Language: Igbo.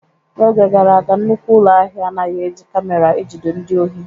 N'oge gara aga, nnukwu ụlọ ahịa anaghị eji camera ejide ndị ohi.